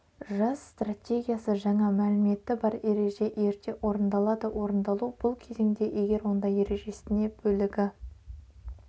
жас стратегиясы жаңа мәліметі бар ереже ерте орындалады орындалу бұл кезеңде егер онда ережесіне бөлігі